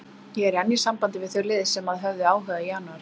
Ég er enn í sambandi við þau lið sem að höfðu áhuga í janúar.